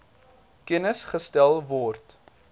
kennis gestel word